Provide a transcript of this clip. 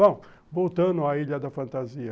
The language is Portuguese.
Bom, voltando à Ilha da Fantasia.